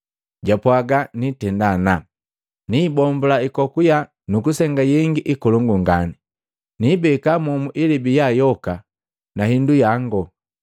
Japwaga, ‘Nitenda ana, niibombula hikoku yaa nukusenga yengi hikolongu ngani. Niibeka momu ilebi yaa yoka na hindu yango.’